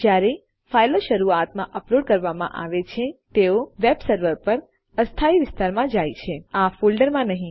જ્યારે ફાઈલો શરૂઆતમાં અપલોડ કરવામાં આવે છે તેઓ વેબ સર્વર પર અસ્થાયી વિસ્તારમાં જાય છે આ ફોલ્ડર માં નહી